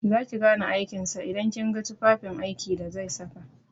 Za ki gane aikin sa idan kin ga tufafin aiki da zai saka.